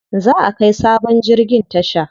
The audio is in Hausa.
Za'a kai sabon jirgin tasha.